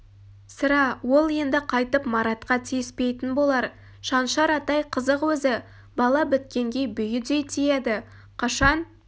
сірә ол енді қайтып маратқа тиіспейтін болар шаншар атай қызық өзі бала біткенге бүйідей тиеді қашан